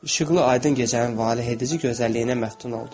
İşıqlı, aydın gecənin valehedici gözəlliyinə məftun oldu.